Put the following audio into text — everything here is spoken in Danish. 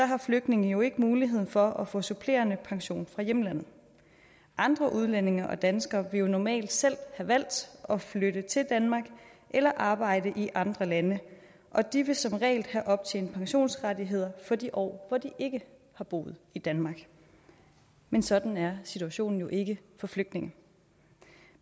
har flygtninge jo ikke mulighed for at få supplerende pension fra hjemlandet andre udlændinge og danskere vil jo normalt selv have valgt at flytte til danmark eller arbejde i andre lande og de vil som regel have optjent pensionsrettigheder for de år hvor de ikke har boet i danmark men sådan er situationen jo ikke for flygtninge